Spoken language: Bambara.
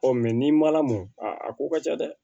Ɔ n'i ma lamɔ a ko ka ca dɛ